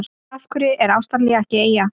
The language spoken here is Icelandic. Af hverju er Ástralía ekki eyja?